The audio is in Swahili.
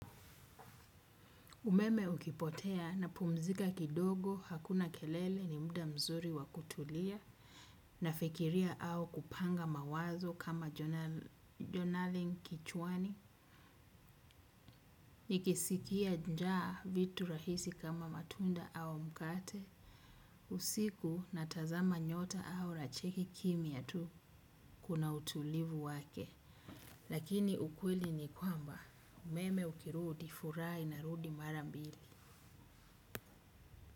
Umeme ukipotea napumzika kidogo hakuna kelele ni muda mzuri wa kutulia. Nafikiria au kupanga mawazo kama jonaling kichwani. Nikisikia njaa vitu rahisi kama matunda au mkate. Usiku natazama nyota au nacheki kimya tu kuna utulivu wake. Lakini ukweli ni kwamba umeme ukirudi furaha inarudi mara mbili.